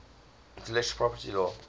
intellectual property law